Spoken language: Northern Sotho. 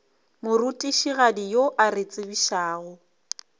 morutišigadi yo a re tsebišago